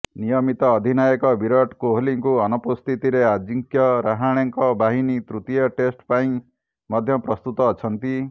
ନିୟମିତ ଅଧିନାୟକ ବିରାଟ କୋହଲିଙ୍କୁ ଅନୁପସ୍ଥିତିରେ ଆଜିଙ୍କ୍ୟ ରାହାଣେଙ୍କ ବାହିନୀ ତୃତୀୟ ଟେଷ୍ଟ୍ ପାଇଁ ମଧ୍ୟ ପ୍ରସ୍ତୁତ ଅଛନ୍ତି